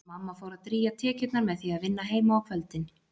Og mamma fór að drýgja tekjurnar með því að vinna heima á kvöldin.